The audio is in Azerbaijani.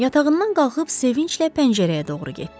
Yatağından qalxıb sevinclə pəncərəyə doğru getdi.